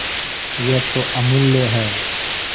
यह तो अमुल्य है